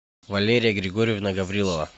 валерия григорьевна гаврилова